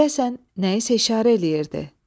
Deyəsən, nəyisə işarə eləyirdi.